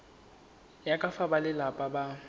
ya ka fa balelapa ba